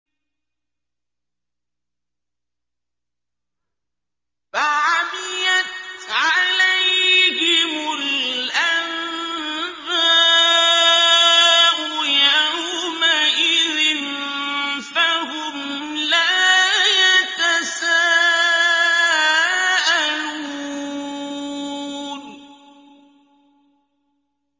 فَعَمِيَتْ عَلَيْهِمُ الْأَنبَاءُ يَوْمَئِذٍ فَهُمْ لَا يَتَسَاءَلُونَ